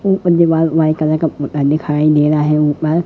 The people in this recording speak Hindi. ऊपर दीवाल व्हाइट कलर का पुता दिखाई दे रहा है ऊपर--